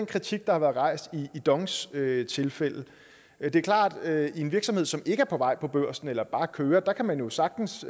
kritik der har været rejst i dongs tilfælde men det er klart at i en virksomhed som ikke er på vej på børsen eller som bare kører kan man jo sagtens